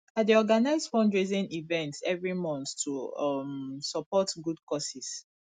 i dey organize fundraising events every month to um support good causes